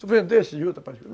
Tu vendeste juta particular?